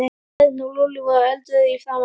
Örn og Lúlli voru eldrauðir í framan.